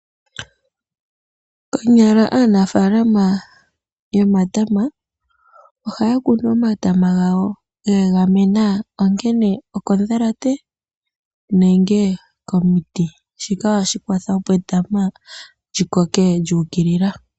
Konyala aanafaalama yomatama ohaya kunu omatama gawo ge egemena ongele okondhalate nenge komiti. Shika ohashi kwatha opo etama li koke lyu ukilila.